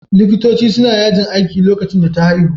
Likitoci suna yajin aiki lokacin da ta haihu